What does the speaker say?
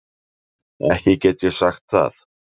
Ekki get ég sagt það.